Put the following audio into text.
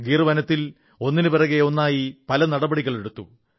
ഗിർ വനത്തിൽ ഒന്നിനുപിറകെ ഒന്നായി പല നടപടികളെടുത്തു